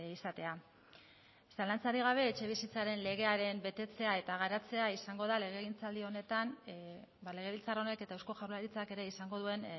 izatea zalantzarik gabe etxebizitzaren legearen betetzea eta garatzea izango da legegintzaldi honetan legebiltzar honek eta eusko jaurlaritzak ere izango duen